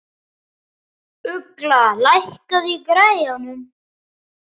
Ugla, lækkaðu í græjunum.